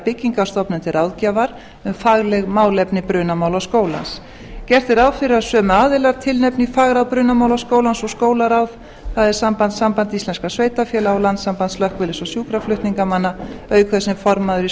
byggingarstofnun til ráðgjafar um fagleg málefni brunamálaskólans gert er ráð fyrir að sömu aðilar tilnefni í fagráð brunamálaskólans og skólaráð það er samband íslenskra sveitarfélaga og landssamband slökkviliðs og sjúkraflutningamanna auk þess sem formaður er